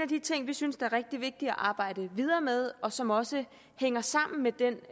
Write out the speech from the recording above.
de ting vi synes er rigtig vigtig at arbejde videre med og som også hænger sammen med den